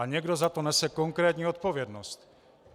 A někdo za to nese konkrétní odpovědnost.